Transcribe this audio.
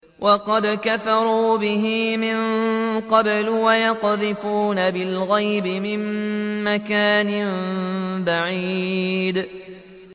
وَقَدْ كَفَرُوا بِهِ مِن قَبْلُ ۖ وَيَقْذِفُونَ بِالْغَيْبِ مِن مَّكَانٍ بَعِيدٍ